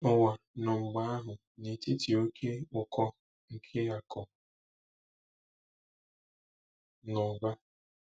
Ụwa nọ mgbe ahụ n'etiti oké ụkọ nke akụ̀ na ụba.